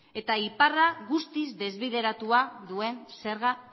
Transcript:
eta iparra guztiz desbideratua duen zerga